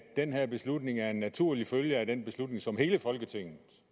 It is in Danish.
den her beslutning er en naturlig følge af den beslutning som hele folketinget